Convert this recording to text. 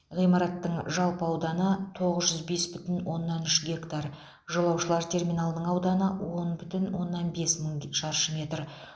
ғимараттың жалпы ауданы тоғыз жүз бес бүтін оннан үш гектар жолаушылар терминалының ауданы он бүтін оннан бес мың шаршы метр